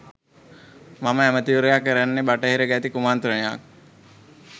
මෙම ඇමතිවරයා කරන්නේ බටහිර ගැති කුමන්ත්‍රණයක්.